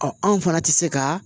Ɔ anw fana tɛ se ka